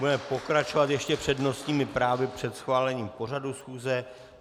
Budeme pokračovat ještě přednostními právy před schválením pořadu schůze.